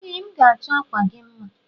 Ee m ga achọ akwa gi mma.